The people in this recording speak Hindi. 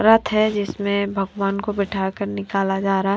रथ हैं जिसमें भगवान को बिठाकर निकाला जा रहा है।